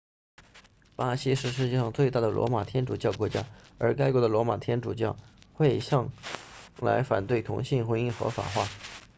巴西是世界上最大的罗马天主教国家而该国的罗马天主教会向来反对同性婚姻合法化